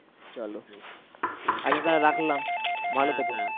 চলো আজকে তাহলে রাখলাম ভালো থেকো।